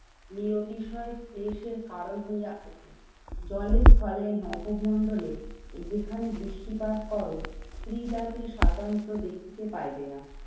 নিয়তিসয় ক্লেশের কারণ হইয়া ওঠে। জলে স্থলে নবমন্ডলে যেখানে দৃষ্টিপাত করো, স্ত্রী জাতির স্বাতন্ত্র দেখিতে পাইবে না।